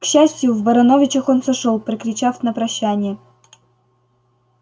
к счастью в барановичах он сошёл прокричав на прощание